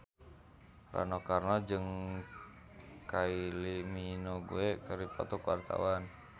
Rano Karno jeung Kylie Minogue keur dipoto ku wartawan